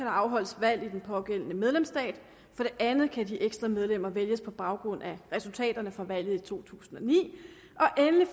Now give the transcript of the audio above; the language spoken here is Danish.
afholdes valg i den pågældende medlemsstat for det andet kan de ekstra medlemmer vælges på baggrund af resultaterne fra valget i to tusind og ni